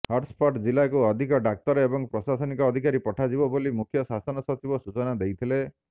hotspot ଜିଲ୍ଲାକୁ ଅଧିକ ଡାକ୍ତର ଏବଂ ପ୍ରଶାସନିକ ଅଧିକାରୀ ପଠାଯିବ ବୋଲି ମୁଖ୍ୟ ଶାସନ ସଚିବ ସୂଚନା ଦେଇଥିଲେ